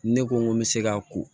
Ne ko n ko n bɛ se ka ko